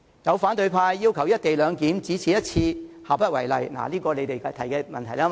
有反對派議員要求"一地兩檢"只此一次，下不為例，這點是由他們提出的，對嗎？